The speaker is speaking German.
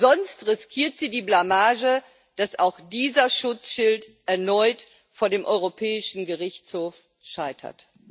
Sonst riskiert sie die Blamage, dass auch dieser Schutzschild erneut vor dem Europäischen Gerichtshof scheitert.